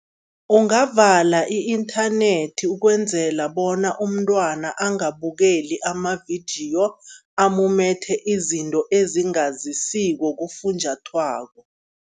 Ungavala i-inthanethi ukwenzela bona umntwana angabukeli amavidiyo, amumethe izinto ezingazisiko kufunjathwako.